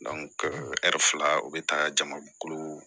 ɛri fila u be taa jama kolo